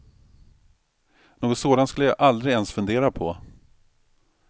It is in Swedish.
Något sådant skulle jag aldrig ens fundera på.